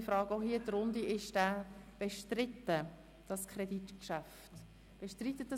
Ich frage auch hier in die Runde, ob dieses Kreditgeschäft bestritten wird.